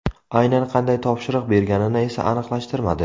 Aynan qanday topshiriq berganini esa aniqlashtirmadi.